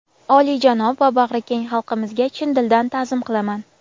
olijanob va bag‘rikeng xalqimizga chin dildan taʼzim qilaman.